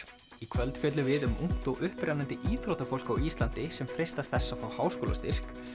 í kvöld fjöllum við um ungt og upprennandi íþróttafólk á Íslandi sem freistar þess að fá háskólastyrk